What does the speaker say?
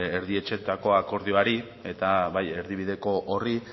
erdietsitako akordioari eta bai erdibideko horri